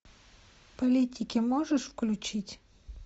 политики можешь включить